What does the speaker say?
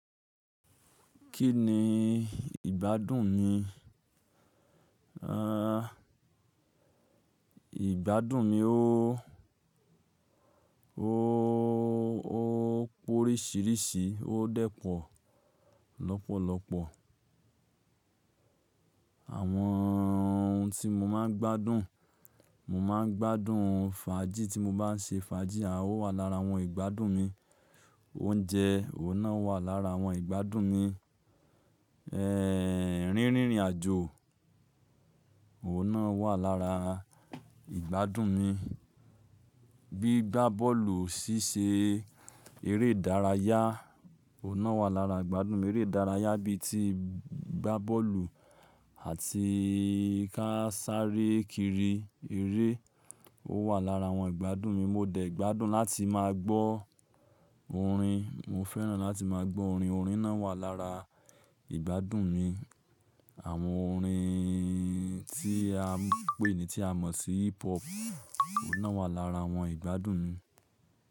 Kí ni ìgbádùn mi? Ìgbádùn mi óóó, ó pórísìírísì, ó dẹ̀ po lọ́pọ̀lọ́pọ̀. Àwọn ohun tí mo máa ń gbádùn, mo máa ń gbádùn fàájì tí mo bá ń ṣe fàájì, à o wà lára àwọn ìgbádùn mi. Oúnjẹ, òun náà wà lára àwọn ìgbádùn mi. Rínrìn àjò, òun náà wà lára ìgbádùn mi. Gbigbá bọ́ọ̀lù, ṣíṣe eré ìdárayá, òun náà wà lára ìgbádùn mi. Eré ìdárayá bí i ti gbá bọ́ọ̀lù àti ká sáré kiri eré, ó wà lára àwọn ìgbádùn mi. Mo dẹ̀ gbádùn láti máa gbọ́ orin. Mo fẹ́ràn láti máa gbọ́ orin. Orin náà wà lára ìgbádùn mi. Àwọn orin tí a ń pè ní tí a mọ̀ sí hip hop, òun náà wà lára àwọn ìgbádùn mi.